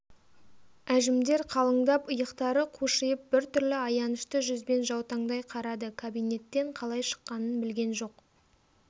әжімдер қалыңдап иықтары қушиып бір түрлі аянышты жүзбен жаутаңдай қарады кабинеттен қалай шыққанын білген жоқ